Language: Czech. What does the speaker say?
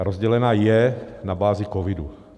A rozdělena je na bázi covidu.